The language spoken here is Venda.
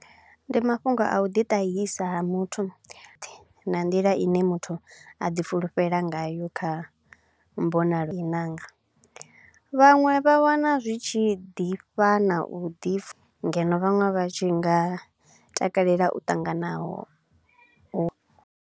Ndi mafhungo a u ḓi tahisa ha muthu na nḓila i ne muthu a ḓi fulufhela ngayo kha mbonalo i nanga, vhaṅwe vha wana zwi tshi ḓifha na u ḓi fu ngeno vhaṅwe vha tshi nga takalela u ṱanganaho u.